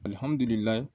Alihamudulila